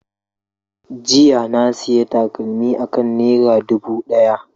Jiya na sayi takalmi akan naira dubu daya.